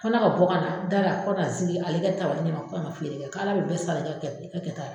Kɛ ne ka bɔ ka na da la ko ka na n zigi ale kɛ tabali ɲɛma ko ka na feere kɛ k'Ala bɛ bɛɛ sara i kɛ i kɛ kɛta la.